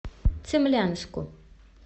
цимлянску